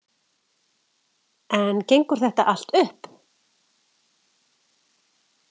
En gengur þetta allt upp?